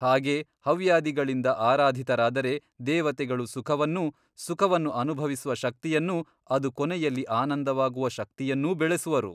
ಹಾಗೆ ಹವ್ಯಾದಿಗಳಿಂದ ಆರಾಧಿತರಾದರೆ ದೇವತೆಗಳು ಸುಖವನ್ನೂ ಸುಖವನ್ನು ಅನುಭವಿಸುವ ಶಕ್ತಿಯನ್ನೂ ಅದು ಕೊನೆಯಲ್ಲಿ ಆನಂದವಾಗುವ ಶಕ್ತಿಯನ್ನೂ ಬೆಳೆಸುವರು.